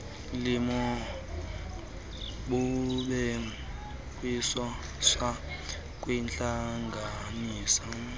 limo kubhekiswa kwintlanganisela